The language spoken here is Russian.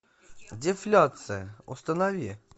дефляция установи